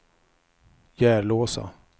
Järlåsa